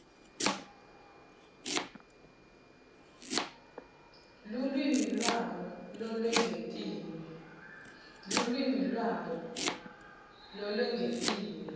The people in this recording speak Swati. lulwimi lwabo lolwengetiwe